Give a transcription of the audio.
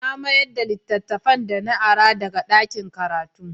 Na mayar da littafin da na ara daga ɗakin karatu.